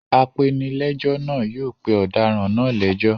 Apenilẹ́jọ́ náà yóò pe ọ̀daràn náà lẹ́jọ́.